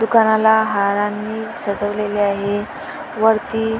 दुकानाला हारांनी सजवलेले आहे. वरती--